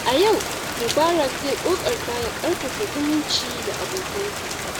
A yau, Mubarak zai ƙoƙarta ya ƙarfafa zumunci da abokansa.